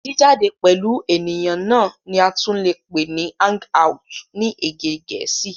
Jìjáde pẹ̀lú ènìyàn náà ni a tún lè pè ní hang out ni èdè gẹ̀ẹ́sì.